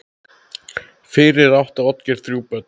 Fyrir átti Oddgeir þrjú börn.